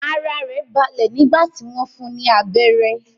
Ara rẹ̀ balẹ̀ nígbà tí wọ́n fún un ní abérẹ́.